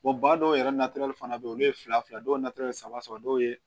ba dɔw yɛrɛ fana bɛ yen olu ye fila fila dɔw saba dɔw ye